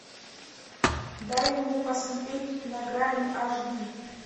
дай мне посмотреть на грани аш ди